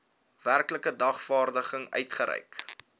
werklike dagvaarding uitgereik